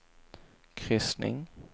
kryssning